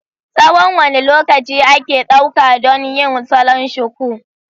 Tsawon wane lokaci ake ɗauka don yin salon shuku?